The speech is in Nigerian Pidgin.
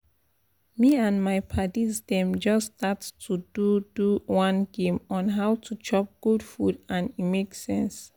me and my padis dem just start to do do one game on how to chop good food and e make sense